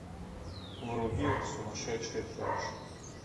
вруби сумасшедшая помощь